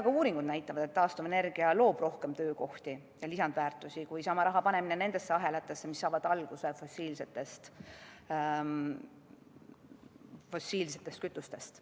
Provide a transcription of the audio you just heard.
Ka uuringud näitavad, et taastuvenergia loob rohkem töökohti ja lisandväärtust kui sama raha panemine nendesse ahelatesse, mis saavad alguse fossiilsetest kütustest.